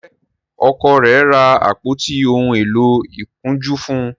njé Ọkọ rẹ ra àpótí òún èló ìkunjú fún?